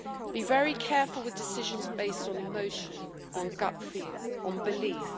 Be very careful with decisions based on emotion, on gut feel, on belief.